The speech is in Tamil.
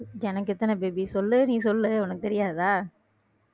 எனக்கு எத்தன baby சொல்லு நீ சொல்லு உனக்கு தெரியாதா